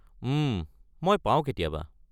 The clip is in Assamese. উম, মই পাওঁ কেতিয়াবা।